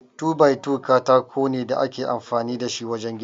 2-by-2 katako ne da ake amfani da shi wajen gini.